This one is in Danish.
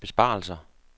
besparelser